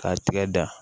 K'a tigɛ da